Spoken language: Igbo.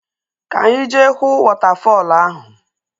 Ka any jee huu wọtafọl ahu!